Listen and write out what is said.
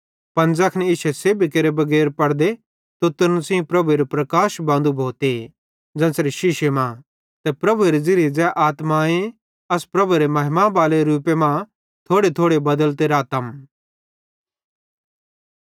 पन ज़ैखन इश्शे सेब्भी केरे बगैर पड़दे तुतरन सेइं प्रभुएरू प्रकाश बांदू भोते ज़ेन्च़रे शीशे मां ते प्रभुएरे ज़िरिये ज़ै आत्माए अस प्रभु एरे महिमा बाले रूपे मां थोड़ेथोड़े बदलते रातम